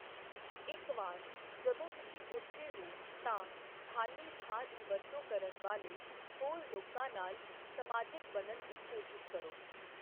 ਇੱਕ ਵਾਰ ਜਦੋਂ ਤੁਸੀਂ ਉੱਥੇ ਹੋ, ਤਾਂ ਖ਼ਾਲੀ ਥਾਂ ਦੀ ਵਰਤੋਂ ਕਰਨ ਵਾਲੇ ਹੋਰ ਲੋਕਾਂ ਨਾਲ ਸਮਾਜਕ ਬਣਨ ਦੀ ਕੋਸ਼ਿਸ਼ ਕਰੋ।